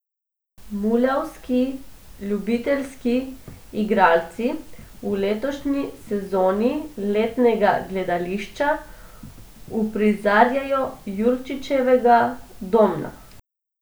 Muljavski ljubiteljski igralci v letošnji sezoni letnega gledališča uprizarjajo Jurčičevega Domna.